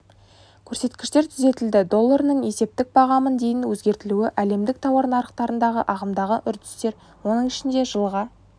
көрсеткіштер түзетілді долларының есептік бағамын дейін өзгертілуі әлемдік тауар нарықтарындағы ағымдағы үрдістер оның ішінде жылға